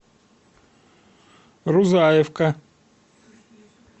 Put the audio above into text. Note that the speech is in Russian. рузаевка